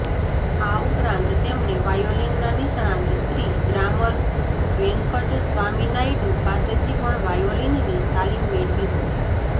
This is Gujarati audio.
આ ઉપરાંત તેમણે વાયોલિનના નિષ્ણાત શ્રી દ્વારમ વેંકટસ્વામી નાયડુ પાસેથી પણ વાયોલિનની તાલીમ મેળવી હતી